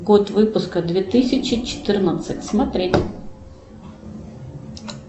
год выпуска две тысячи четырнадцать смотреть